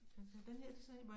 Den her du sagde